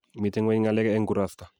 Mito ngwenye ngalek eng' kurasta